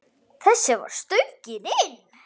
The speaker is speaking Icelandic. Þessi var stöngin inn.